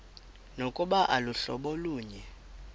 nokuba aluhlobo lunye